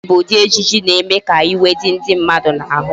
Ọdachi bụ ụdị ejije na-eme ka iwe dị ndị mmadụ n'ahụ